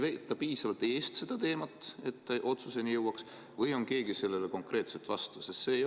Kas ei veeta piisavalt eest seda teemat, et otsuseni jõutaks, või on keegi sellele konkreetselt vastu?